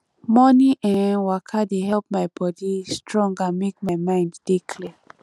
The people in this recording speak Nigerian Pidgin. morning um waka dey help my body strong and make my mind dey clear